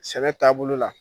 Sɛnɛ taa bolo la.